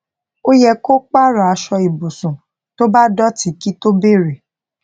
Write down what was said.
ó yẹ kó pààrò aṣọ ibùsùn tó bá dòtí kí tó bèrè